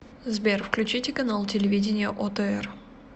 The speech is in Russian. сбер включите канал телевидения отр